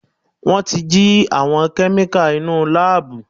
Wọ́n ti jí àwọn kẹ́míkà inúu láàbù.